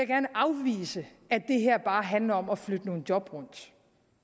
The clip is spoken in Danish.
gerne afvise at det her bare handler om at flytte nogle job rundt